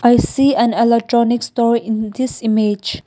a seen an electronic store in this image.